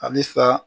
Alisa